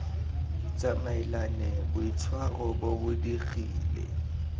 tsamaelane boitshwaro bo bo digile